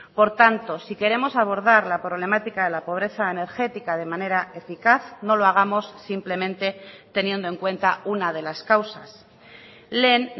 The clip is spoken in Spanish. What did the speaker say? por tanto si queremos abordar la problemática de la pobreza energética de manera eficaz no lo hagamos simplemente teniendo en cuenta una de las causas lehen